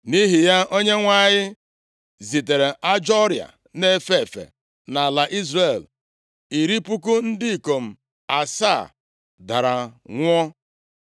Nʼihi ya, Onyenwe anyị zitere ajọ ọrịa na-efe efe nʼala Izrel, iri puku ndị ikom asaa dara nwụọ.